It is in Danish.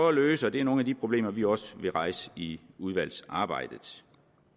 at løse og det er nogle af de problemer vi også vil rejse i udvalgsarbejdet